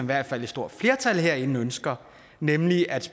hvert fald et stort flertal herinde ønsker nemlig at